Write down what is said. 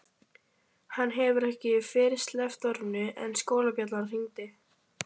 Hann hefur ekki fyrr sleppt orðinu en skólabjallan hringir.